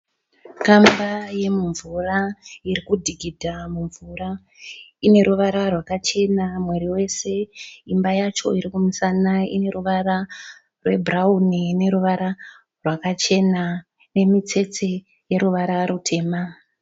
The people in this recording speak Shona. Kamba yemumvura irikudhigidha mumvura. Ineruvara rwakachena muviri wese. Imba yacho irikumusana ineruvara rwebhurauni neruvara rwakachena nemutsetse yeruvara rutema.